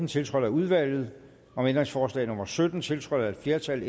tiltrådt af udvalget om ændringsforslag nummer sytten tiltrådt af et flertal